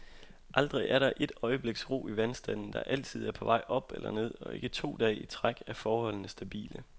Aldrig er der et øjebliks ro i vandstanden, der altid er på vej op eller ned, og ikke to dage i træk er forholdene stabile.